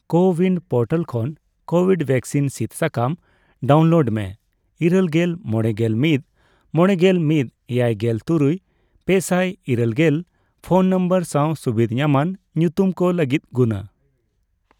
CoWIN portal ᱠᱷᱚᱱ Covid vaccine ᱥᱤᱫ ᱥᱟᱠᱟᱢ ᱰᱟᱣᱩᱱᱞᱳᱰ ᱢᱮ ᱤᱨᱟᱹᱞᱜᱮᱞ ,ᱢᱚᱲᱮᱜᱮᱞ ᱢᱤᱛ ,ᱢᱚᱲᱮᱜᱮᱞ ᱢᱤᱛ ,ᱮᱭᱟᱭᱜᱮᱞ ᱛᱩᱨᱩᱭ ,ᱯᱮᱥᱟᱭ ᱤᱨᱟᱹᱞ ᱜᱮᱞ ᱯᱷᱚᱱ ᱱᱚᱢᱵᱚᱨ ᱥᱟᱣ ᱥᱩᱵᱤᱫᱷ ᱧᱟᱢᱟᱱ ᱧᱩᱛᱩᱢ ᱠᱚ ᱞᱟᱹᱜᱤᱫ ᱜᱩᱱᱟ ᱾